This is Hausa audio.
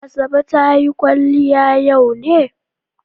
Asabe ta yi kwaliya yau ne?